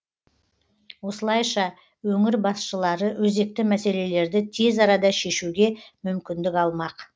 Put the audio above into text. осылайша өңір басшылары өзекті мәселелерді тез арада шешуге мүмкіндік алмақ